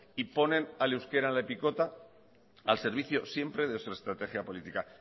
y ponen al euskera en la picota al servicio siempre de su estrategia política